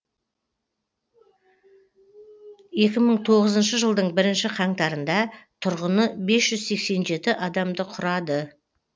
екң мың тоғызыншы жылдың бірінші қаңтарында тұрғыны бес жүз сексен жеті адамды құрады